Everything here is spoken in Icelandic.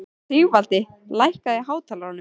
Sigvaldi, lækkaðu í hátalaranum.